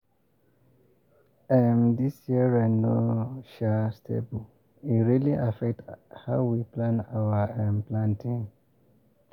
um this year rain no um stable e really affect how we plan our um planting.